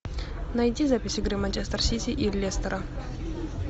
найди запись игры манчестер сити и лестера